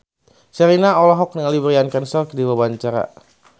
Sherina olohok ningali Bryan Cranston keur diwawancara